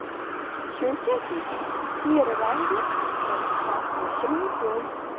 Shunchaki teri rangi biroz farq qilishi mumkin.